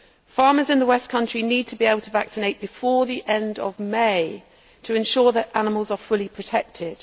Farmers in the West Country need to be able to vaccinate before the end of May to ensure that animals are fully protected.